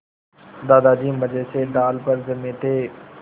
दादाजी मज़े से डाल पर जमे थे